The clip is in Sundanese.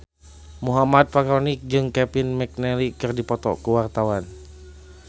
Muhammad Fachroni jeung Kevin McNally keur dipoto ku wartawan